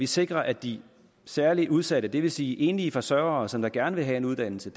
sikrer at de særlig udsatte det vil sige enlige forsørgere som gerne vil have en uddannelse